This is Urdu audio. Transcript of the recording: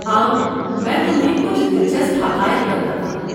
آؤ، میں تمہیں کچھ دلچسپ حقائق بتاتا ہوں۔